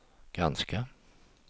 granska